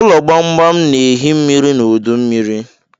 Ụlọ gbamgbam na-ehi mmiri n'udu mmiri.